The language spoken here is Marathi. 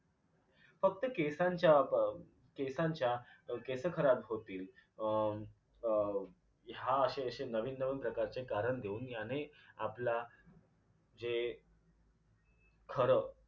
फक्त केसांच्या केसांच्या केसं खराब होतील अं अं ह्या अशे अशे नवीन नवीन प्रकारचे कारण देऊन ह्याने आपला जे खरं